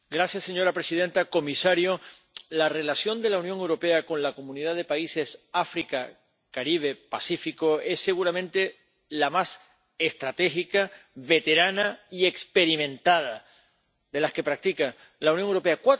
Señora presidenta, señor comisario, la relación de la Unión Europea con la Comunidad de Países de África, el Caribe y el Pacífico es seguramente la más estratégica, veterana y experimentada de las que mantiene la Unión Europea.